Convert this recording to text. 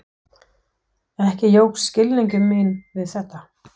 Ekki jókst skilningur minn við þetta.